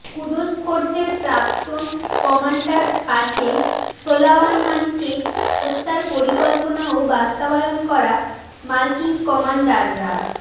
কুদস ফোর্সের প্রাক্তন commander Qasem সোলায়মানিকে হত্যার পরিকল্পনা ও বাস্তবায়ন করা মার্কিন কমান্ডাররা